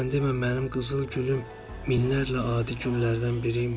Sən demə mənim qızıl gülüm minlərlə adi güllərdən biri imiş.